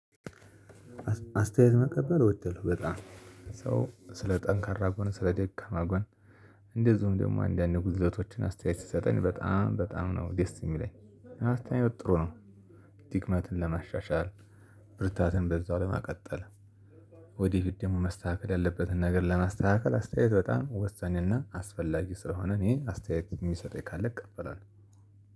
አስታየት መቀበል ወዳለው በጣም ሰው ስለ ጠንካራ ጎን ስለ ደካማ ጎን እንደዚሁም ደግሞ አንዳንድ ጉድለቶችን አስታየት ስሰጠን በጣም በጣም ነው ደስ የሚለኝ አስታየት ጥሩ ነው። ድክመትን ለማሻሻል ብርታትን በዛው ለመቀጠል። ወዲህ ደግሞ መስተካከል ያለበትን ነገር ለማስተካከል አስታየት በጣም ወሳኝና አስፈላጊ ስለሆነ እኔ አስታየት የሚሰጠኝ ካለ እቀበላለው።